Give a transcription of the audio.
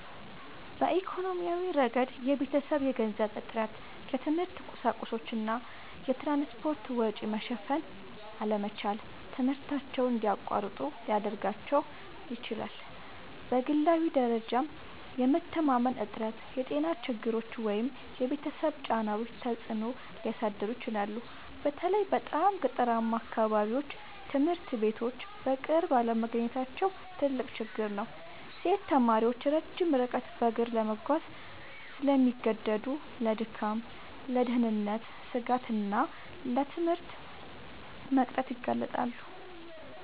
በኢኮኖሚያዊ ረገድ የቤተሰብ የገንዘብ እጥረት፣ የትምህርት ቁሳቁሶች እና የትራንስፖርት ወጪ መሸፈን አለመቻል ትምህርታቸውን እንዲያቋርጡ ሊያደርጋቸው ይችላል። በግላዊ ደረጃም የመተማመን እጥረት፣ የጤና ችግሮች ወይም የቤተሰብ ጫናዎች ተጽዕኖ ሊያሳድሩ ይችላሉ። በተለይ በጣም ገጠራማ አካባቢዎች ትምህርት ቤቶች በቅርብ አለመገኘታቸው ትልቅ ችግር ነው። ሴት ተማሪዎች ረጅም ርቀት በእግር ለመጓዝ ስለሚገደዱ ለድካም፣ ለደህንነት ስጋት እና ለትምህርት መቅረት ይጋለጣሉ